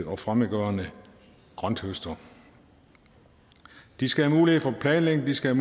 og fremmedgørende grønthøster de skal have mulighed for at planlægge de skal